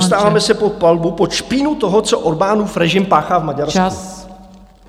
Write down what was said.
Dostáváme se pod palbu, pod špínu toho, co Orbánův režim páchá v Maďarsku."